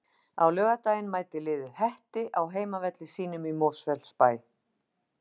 Á laugardaginn mætir liðið Hetti á heimavelli sínum í Mosfellsbæ.